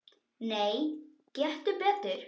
Nei, gettu betur